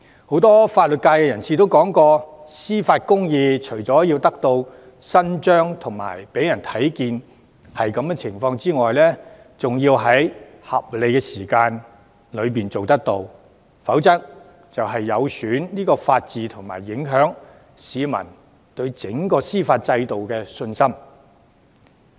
很多法律界人士說過，司法公義除了要得到伸張和讓人看到得到伸張外，還需要在合理時間內處理，否則會有損法治和影響市民對整個司法制度的信心。